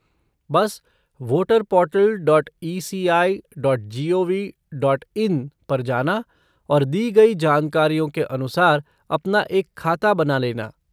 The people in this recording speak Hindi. बस voter portal dot ECI dot G O V dot in पर जाना और दी गई जानकारियों के अनुसार अपना एक खाता बना लेना।